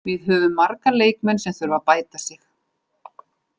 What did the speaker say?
Við höfum marga leikmenn sem þurfa að bæta sig.